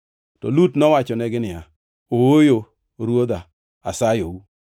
To Lut nowachonegi niya, “Ooyo, Ruodha, asayou!